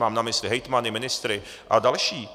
Mám na mysli hejtmany, ministry a další.